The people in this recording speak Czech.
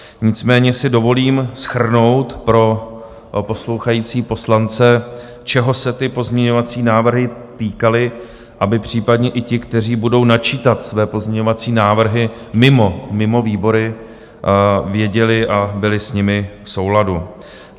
Nicméně si dovolím shrnout pro poslouchající poslance, čeho se ty pozměňovací návrhy týkaly, aby případně i ti, kteří budou načítat své pozměňovací návrhy mimo výbory, věděli a byli s nimi v souladu.